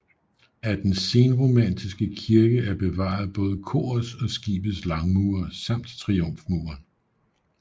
Af den senromanske kirke er bevaret både korets og skibets langmure samt triumfmuren